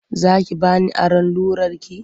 Za ki ba ni aron rularki?